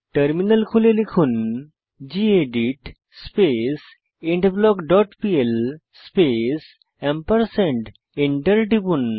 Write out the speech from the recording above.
terminal খুলে লিখুন gedit space endblock dot PL space enter টিপুন